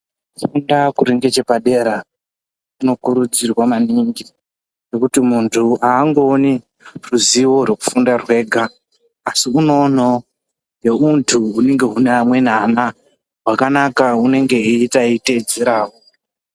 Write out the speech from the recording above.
Kufunda kuri nechepadera, kunokurudzirwa maningi , nekuti muntu angooni ruzivo rwekufunda rwenga , asi unoonawo neuntu hunenge une vamweni ana wakanaka unenge aiita aitedzerawo .